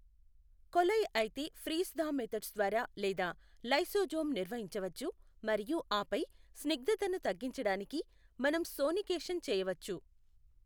కొలై అయితే freeze thaw methods ద్వారా లేదా లైసోజోమ్ నిర్వహించవచ్చు మరియు ఆపై స్నిగ్ధతను తగ్గంచడానికి మనం సోనికేషన్ చేయవచ్చు.